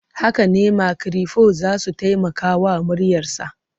Haka ne, makirufo za su taimaka wa muryarsa.